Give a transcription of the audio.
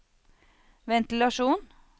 ventilasjon